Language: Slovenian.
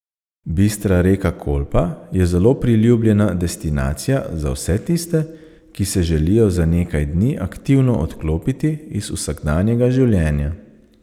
Bistra reka Kolpa je zelo priljubljena destinacija za vse tiste, ki se želijo za nekaj dni aktivno odklopiti iz vsakdanjega življenja.